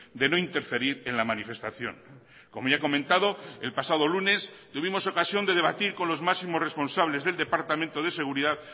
de no interferir en la manifestación como ya he comentado el pasado lunes tuvimos ocasión de debatir con los máximos responsables del departamento de seguridad